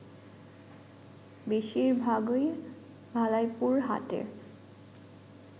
বেশিরভাগই ভালাইপুর হাটের